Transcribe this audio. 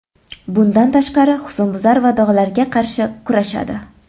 Bundan tashqari, husnbuzar va dog‘larga qarshi kurashadi.